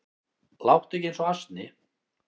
Láttu ekki eins og asni